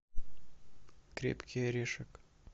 крепкий орешек